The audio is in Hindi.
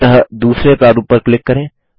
अतः दूसरे प्रारूप पर क्लिक करें